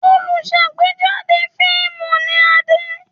Olùṣàgbéjáde fíímù ni Adé.